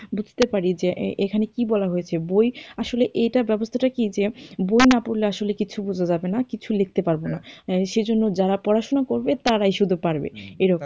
বুঝতে পরি যে এখানে কি বলা হয়েছে বই আসলে এইটার ব্যবস্থাটা কি যে বই না পড়লে আসলে কিছু বোঝা যাবে কিছু লিখতে পারবে না সেজন্য যারা পড়াশুনা করবে তারাই শুধু পারবে, এরকম।